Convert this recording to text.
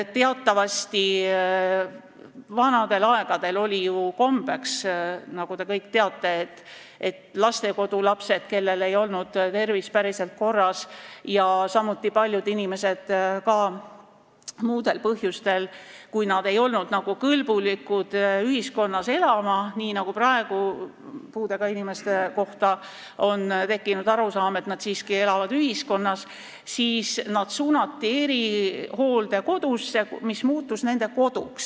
Teatavasti oli vanadel aegadel kombeks, nagu te kõik teate, et lastekodulapsed, kellel ei olnud tervis päriselt korras, samuti paljud inimesed ka muudel põhjustel, kui nad ei olnud nagu kõlblikud ühiskonnas elama – praegu on tekkinud arusaam, et puudega inimesed siiski elavad ühiskonnas –, suunati erihooldekodusse, mis muutus nende koduks.